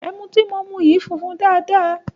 Ẹmu tí mò ń mu yìí funfun dáadáa.